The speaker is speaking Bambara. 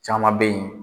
Caman bɛ yen